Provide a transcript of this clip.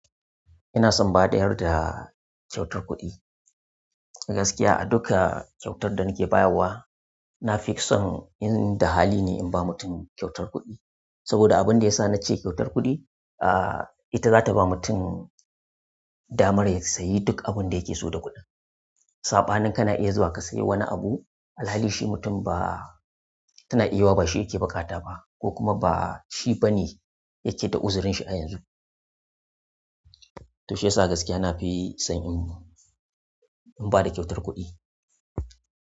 Ina son in ba ɗayar da kyautar kuɗi. Gaskiya a dukka kyautar da nake bayarwa, na fi son in da hali ne in ba mutum kyautar kuɗi. Saboda abunda yasa na ce kyautar kuɗi, ah ita zata ba mutum damar ya sayi ɗuk abun da yake so da kuɗin. Sabanin kana iya zuwa ka sayi wani abu alhali shi mutum ba tana iya yiwuwa ba shi yake bukata ba ko kuma ba shi bane yake da uzurin shi a yanzu. To shiyasa gaskiya na fi son in--in bada kyautar kuɗi.